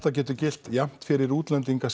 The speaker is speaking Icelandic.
getur gilt jafnt fyrir útlendinga